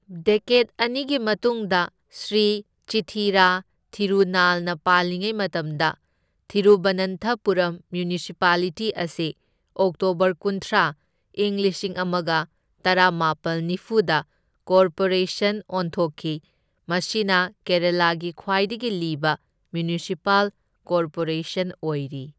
Decade ꯑꯅꯤꯒꯤ ꯃꯇꯨꯡꯗ, ꯁ꯭ꯔꯤ ꯆꯤꯊꯤꯔꯥ ꯊꯤꯔꯨꯅꯥꯜꯅ ꯄꯥꯜꯂꯤꯉꯩ ꯃꯇꯝꯗ, ꯊꯤꯔꯨꯕꯅꯟꯊꯄꯨꯔꯝ ꯃ꯭ꯌꯨꯅꯤꯁꯤꯄꯥꯂꯤꯇꯤ ꯑꯁꯤ ꯑꯣꯛꯇꯣꯕꯔ ꯀꯨꯟꯊ꯭ꯔꯥ, ꯢꯪ ꯂꯤꯁꯤꯡ ꯑꯃꯒ ꯇꯔꯥꯃꯥꯄꯜ ꯅꯤꯐꯨꯗ ꯀꯣꯔꯄꯣꯔꯦꯁꯟ ꯑꯣꯟꯊꯣꯛꯈꯤ, ꯃꯁꯤꯅ ꯀꯦꯔꯥꯂꯥꯒꯤ ꯈ꯭ꯋꯥꯏꯗꯒꯤ ꯂꯤꯕ ꯃ꯭ꯌꯨꯅꯤꯁꯤꯄꯥꯜ ꯀꯣꯔꯄꯣꯔꯦꯁꯟ ꯑꯣꯏꯔꯤ꯫